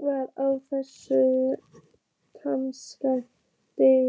það á þessu almanaksári?